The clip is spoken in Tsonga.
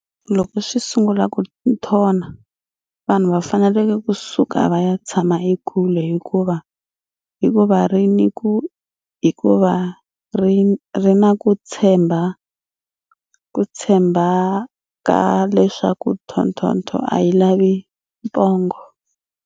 Loko swi sungula ku nthona, vanhu va fanele ku suka va ya tshama ekule hikuva va ri ni ku tshemba ka leswaku thothotho a yi lavi pongo.